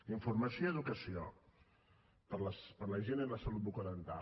informació i educació per a la gent i la salut bucodental